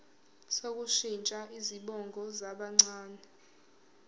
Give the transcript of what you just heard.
sokushintsha izibongo zabancane